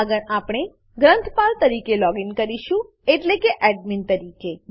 આગળ આપણે ગ્રંથપાલ તરીકે લોગીન કરીશું એટલે કે એડમિન એડમીન તરીકે